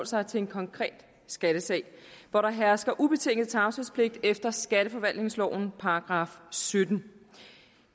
sig til en konkret skattesag hvor der hersker ubetinget tavshedspligt efter skatteforvaltningsloven § syttende